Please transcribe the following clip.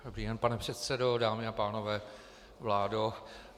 Dobrý den, pane předsedo, dámy a pánové, vládo.